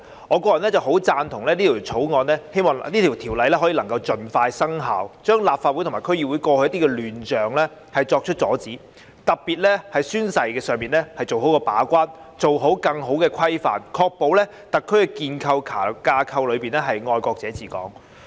我個人十分贊同並希望這項《條例草案》能盡快生效，遏止立法會及區議會過去的亂象，特別是在宣誓方面把關，作出更好的規範，確保在特區架構內是"愛國者治港"。